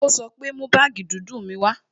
Ó sọ pé "Mú baagi dúdú mi wá"